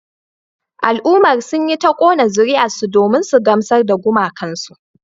Al'ummar sun yi ta kona zuriyarsu domin su gamsar da gumakansu